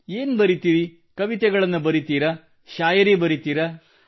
ಏನು ಬರೆಯುತ್ತೀರಿ ಕವಿತೆಗಳನ್ನು ಬರೆಯುತ್ತೀರಾ ಶಾಯರಿ ಬರೆಯುತ್ತೀರಾ